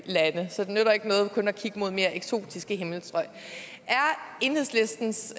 nytter ikke noget kun at kigge mod mere eksotiske himmelstrøg er enhedslistens